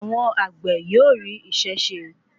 Àwọn àgbè yóò rí isé se.